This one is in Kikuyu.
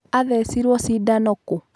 Athecirwo cindano kũũ?.